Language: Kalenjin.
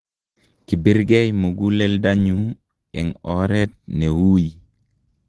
kibirgei muguleldonyu eng' oret ne ui